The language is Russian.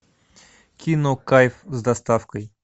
кино кайф с доставкой